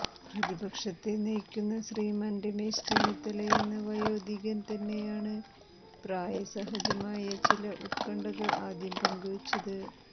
പ്രതിപക്ഷത്തെ നയിക്കുന്ന ശ്രീമാൻ രമേശ് ചെന്നിത്തലയെന്ന വയോധികൻ തന്നെയാണ് പ്രായസഹജമായ ചില ഉത്കണ്ഠകൾ ആദ്യം പങ്കുവച്ചത്